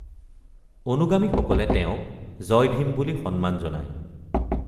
অনুগামীসকলে তেওঁক জয় ভীম বুলি সন্মান জনায়।